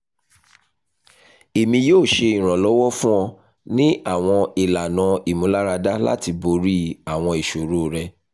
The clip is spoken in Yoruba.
emi yoo ṣe iranlọwọ fun ọ ni awọn ilana imularada lati bori awọn iṣoro rẹ